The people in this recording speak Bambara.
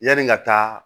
Yanni n ka taa